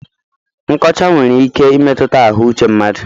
Nkọcha nwere ike imetụta ahụ uche mmadụ.